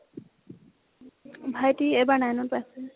ভাইতি এইবাৰ nine ত পাইছে ।